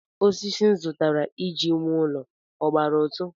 Osisi m zụtara iji wuo ụlọ ọ gbara ụtụ?